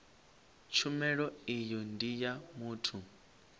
tshumelo iyi ndi ya muthu